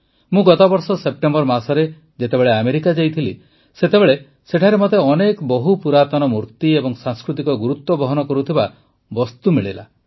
ମୁଁ ଗତବର୍ଷ ସେପ୍ଟେମ୍ବର ମାସରେ ଯେତେବେଳେ ଆମେରିକା ଯାଇଥିଲି ସେତେବେଳେ ସେଠାରେ ମତେ ଅନେକ ବହୁପୁରାତନ ମୂର୍ତ୍ତି ଏବଂ ସାଂସ୍କୃତିକ ଗୁରୁତ୍ୱ ବହନ କରୁଥିବା ଅନେକ ବସ୍ତୁ ମିଳିଲା